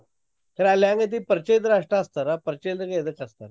Sir ಅಲ್ಹೆಂಗೈತಿ ಪರ್ಚಯ ಇದ್ರ್ ಅಸ್ಟ್ ಹಚ್ತಾರ್ ಪರ್ಚ್ಯ ಇಲ್ದಂಗ್ ಎದ್ಕ ಹಚ್ತಾರಾ.